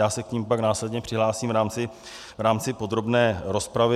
Já se k nim pak následně přihlásím v rámci podrobné rozpravy.